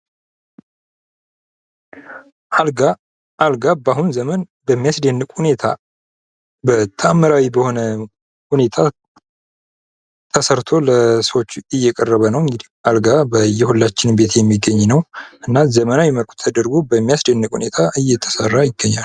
አልጋ አልጋ በአሁኑ ዘመን በሚያስደንቅ ሁኔታ በታምራዊ በሆነ ሁኔታ ተሰርቶ ለሰዎች እየቀረበ ነው:: እንግዲህ አልጋ በየሁላችንም ቤት የሚገኝ እና ዘመናዊ መልኩ ተድርጎ በሚያስደንቅ ሁኔታ እየተሰራ ይገኛል ::